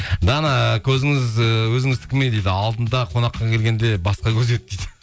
дана көзіңіз ііі өзіңіздікі ме дейді алдында қонаққа келгенде басқа көз еді дейді